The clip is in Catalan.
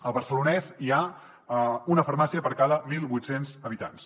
al barcelonès hi ha una farmàcia per cada mil vuit cents habitants